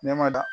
Ne ma da